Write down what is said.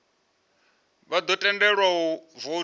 vha ḓo tendelwa u voutha